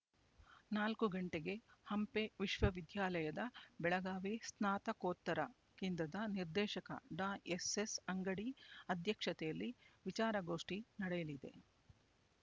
ನಾಲ್ಕು ಗಂಟೆಗೆ ಹಂಪ ವಿಶ್ವವಿದ್ಯಾಲಯದ ಬೆಳಗಾವಿ ಸ್ನಾತಕೋತ್ತರ ಕೇಂದ್ರದ ನಿರ್ದೇಶಕ ಡಾ ಎಸ್ ಎಸ್ ಅಂಗಡಿ ಅಧ್ಯಕ್ಷತೆಯಲ್ಲಿ ವಿಚಾರಗೋಷ್ಠಿ ನಡೆಯಲಿದೆ